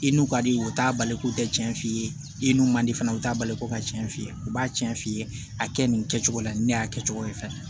I n'u ka di ye u t'a bali k'u tɛ tiɲɛ f'i ye i n'u man di fana u t'a bali ko ka tiɲɛ f'iye u b'a cɛn f'i ye a kɛ nin kɛcogo la ni ne y'a kɛcogo ye fɛnɛ